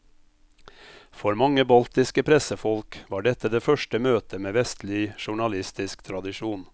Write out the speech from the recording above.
For mange baltiske pressefolk var dette det første møte med vestlig journalistisk tradisjon.